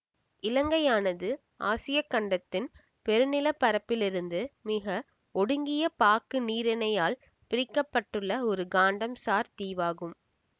இலங்கையானது ஆசிய கண்டத்தின் பெருநிலப் பரப்பிலிருந்து மிக ஒடுங்கிய பாக்கு நீரிணையால் பிரிக்க பட்டுள்ள ஒரு கண்டம் சார் தீவாகும்